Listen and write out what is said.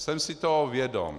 Jsem si toho vědom.